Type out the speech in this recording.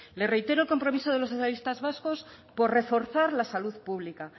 le reitero el compromiso de los socialistas vascos por reforzar la salud pública